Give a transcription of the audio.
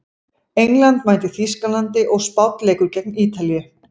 England mætir Þýskalandi og Spánn leikur gegn Ítalíu.